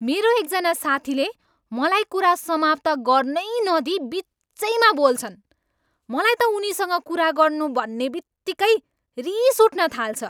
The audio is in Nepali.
मेरो एकजना साथीले मलाई कुरा समाप्त गर्नै नदिई बिचैमा बोल्छन्। मलाई त उनीसँग कुरा गर्नु भन्ने बित्तिकै रिस उठ्न थाल्छ।